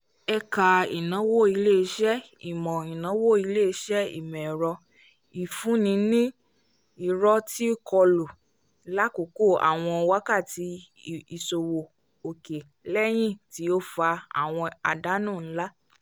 ẹka ìnáwó ilé-iṣẹ́ ìmọ ìnáwó ilé-iṣẹ́ ìmọ ẹrọ ìfun ní nì irò ti kọlu l'akoko àwọn wákàtí ìṣòwò òkè l'eyi ti o fà àwọn àdánù nlá